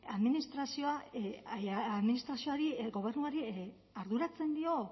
administrazioari gobernuari arduratzen dio